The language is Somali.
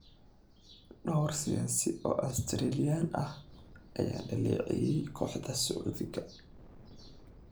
Dhowr siyaasi oo Australian ah ayaa dhaleeceeyay kooxda Sacuudiga.